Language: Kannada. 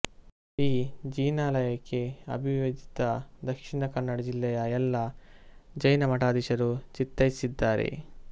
ಈ ಜಿನಾಲಯಕ್ಕೆ ಅವಿಭಜಿತ ದಕ್ಷಿಣ ಕನ್ನಡ ಜಿಲ್ಲೆಯ ಎಲ್ಲಾ ಜೈನಮಠಾಧೀಶರು ಚಿತ್ತೈಸಿದ್ದಾರೆ